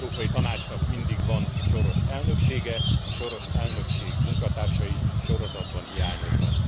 Az Európai Tanácsnak mindig van soros elnöksége, a soros elnökség munkatársai sorozatban hiányoznak.